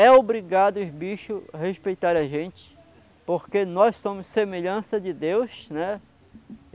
É obrigado os bichos respeitar a gente, porque nós somos semelhança de Deus, né?